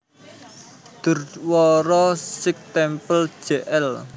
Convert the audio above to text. Gurdwara Sikh Temple Jl